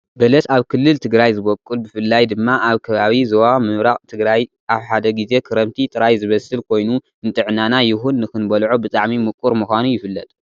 በለስ ኣብ ክልል ትግራይ ዝበቁል ብፍላይ ድማ ኣብ ከባቢ ዞባ ምብራቅ ትግራይ ኣብ ሓደ ግዜ ክረምቲ ጥራይዝበስል ኮይኑ ንጥዕናና ይኩን ንክትበልዖ ብጣዕሚ ሙቁር ምኳኑ ይፍለጥ።